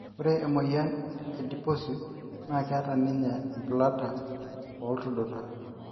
ore emoyian e Adiposis na keeta ninye umbulata o iltuduta